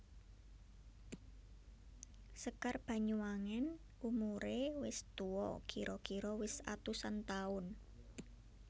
Sekar Banyuwangen umuré wis tuwa kira kira wis atusan taun